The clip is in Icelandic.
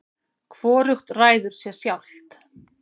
hvorugt ræður sér sjálft